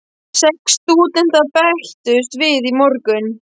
Sex stúdentar bættust við í morgun.